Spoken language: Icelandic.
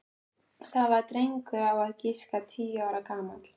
Það var drengur á að giska tíu ára gamall.